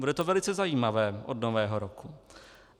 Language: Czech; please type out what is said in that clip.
Bude to velice zajímavé od Nového roku.